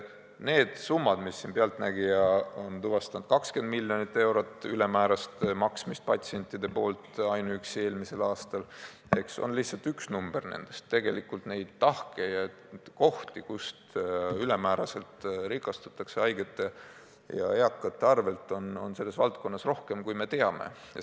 Need summad, mis "Pealtnägija" on tuvastanud, 20 miljonit eurot ülemäärast maksmist patsientide poolt ainuüksi eelmisel aastal, on lihtsalt üks number nendest, tegelikult neid tahke ja kohti, kust ülemääraselt rikastutakse haigete ja eakate arvel, on selles valdkonnas rohkem, kui teame.